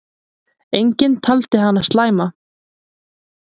Enginn taldi hana slæma.